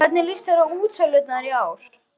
Helga Arnardóttir: Hvernig líst þér á útsölurnar í ár?